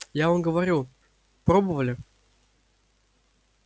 я вам говорю пробовали